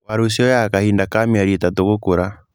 Waru cioyaga kahinda ka mĩeri ĩtatu gũkũra